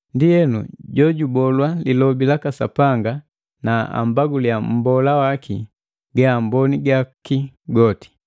Ndienu jojubolwa lilobi laka Sapanga na ambaguliya mmbola waki gaamboni gaku goti.